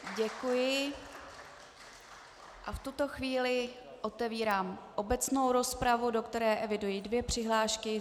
Děkuji a v tuto chvíli otevírám obecnou rozpravu, do které eviduji dvě přihlášky.